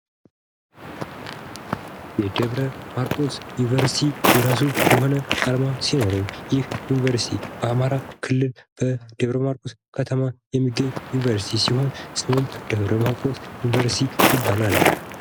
የደብረ ማርቆስ ዩኒቨርስቲ የራሱ የሆነ አርማ ሲኖረው ይህ ዩኒቨርሲቲ በአማራ ክልል በደብረማርቆስ ከተማ የሚገኝ ዩኒቨርስቲ ሲሆን ስሙም ደብረማርቆስ ዩኒቨርስቲ ይባላል።